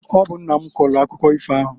Ọ bụ nna m kọọlụ akụkọ ifo ahụ.